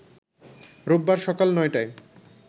রোববার সকাল ৯টায়